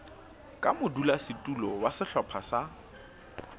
ka modulasetulo wa sehlopha sa